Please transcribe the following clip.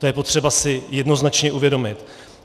To je potřeba si jednoznačně uvědomit.